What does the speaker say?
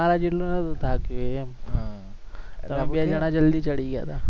અમારા જેટલો નથી થાક્યો એ એમ તમે બે જણા જલ્દી ચડી ગયા હતા